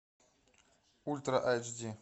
ультра айч ди